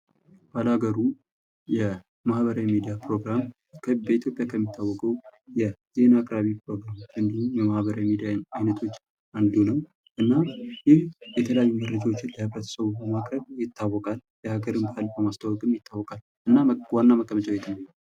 ባላገሩ የማህበራዊ ሚዲያ ፕሮግራም በኢትዮጵያ ከሚታወቁ የዜና አቅራቢ የማህበራዊ ሚዲያወች አንዱ ነው። እና ይህ የተለያዩ መረጃዎችን ለህብረተሰቡ በማቅረብ ይታወቃል። የሃገር በማስተዋውቅም ይታወቃል። እና ዋና መቀመጫው የት ነው?